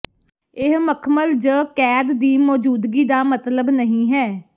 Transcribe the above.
ਇਹ ਮਖਮਲ ਜ ਕੈਦ ਦੀ ਮੌਜੂਦਗੀ ਦਾ ਮਤਲਬ ਨਹੀ ਹੈ